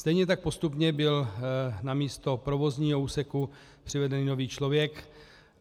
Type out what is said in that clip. Stejně tak postupně byl na místo provozního úseku přivedený nový člověk.